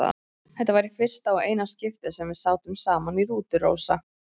Þetta var í fyrsta og eina skiptið sem við sátum saman í rútu, Rósa.